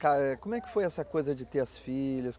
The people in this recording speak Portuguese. Como é que foi essa coisa de ter as filhas?